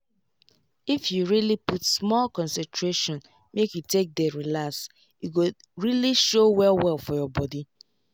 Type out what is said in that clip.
if you really put small concentration make you take dey relax e go really show well well for your body